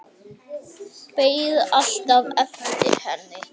Beið alltaf eftir henni.